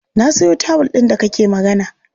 Na sayo tawul ɗin da kake magana.